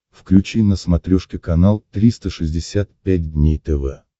включи на смотрешке канал триста шестьдесят пять дней тв